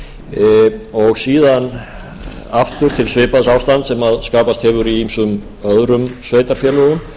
síðan aftur til svipaðs ástands sem skapast hefur í ýmsum öðrum sveitarfélögum